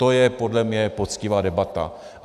To je podle mne poctivá debata.